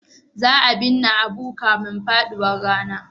Za a binne Abu kafin faduwar rana.